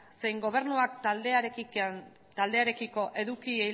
zein gobernuak taldearekiko eduki